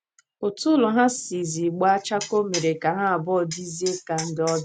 Otú ụlọ ha sizi gbaa chakoo mere ka ha abụọ dịzie ka ndị ọbịa.